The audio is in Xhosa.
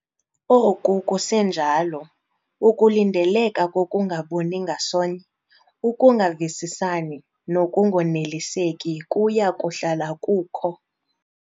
Oku kusenjalo, ukulindeleka kokungaboni ngasonye, ukungavisisani nokungoneliseki kuya kuhlala kukho.